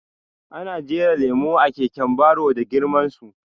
Ana jera lemo a keken baro da girman su